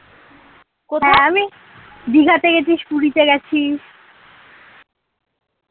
দিঘাতে গেছিস পুরিতো গেছিস